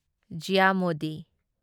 ꯓꯤꯌꯥ Modi